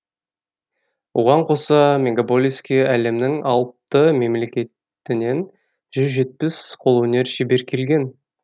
оған қоса мегаполиске әлемнің алты мемлекетінің жүз жетпіс қолөнер шебер келген